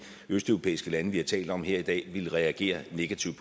østeuropæiske lande vi har talt om her i dag ville reagere negativt